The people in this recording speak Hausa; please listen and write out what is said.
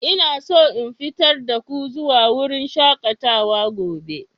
Ina so in fitar da ku zuwa wurin shakatawa gobe.